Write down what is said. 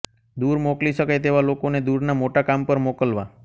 દૂર મોકલી શકાય તેવા લોકોને દૂરના મોટા કામ પર મોકલવા